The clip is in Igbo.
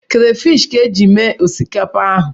Krafish ka eji mee osikapa ahụ.